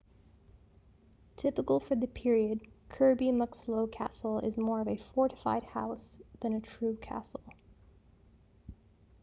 typical for the period kirby muxloe castle is more of a fortified house than a true castle